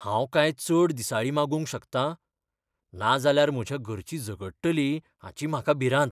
हांव कांय चड दिसाळीं मागूंक शकता? नाजाल्यार म्हज्या घरचीं झगडटलीं हाची म्हाका भिरांत.